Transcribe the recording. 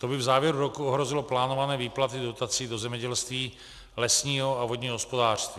To by v závěru roku ohrozilo plánované výplaty dotací do zemědělství, lesního a vodního hospodářství.